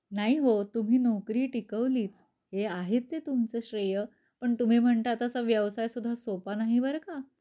नाही हो तुम्ही नोकरी टिकवलीच. हे आहेच आहे तुमच श्रेय. पण तुम्ही म्हणता तसा व्यवसाय सुद्धा सोपा नाही बर का.